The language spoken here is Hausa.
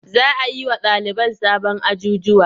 Za a yi wa ɗaliban sabon ajjujuwa.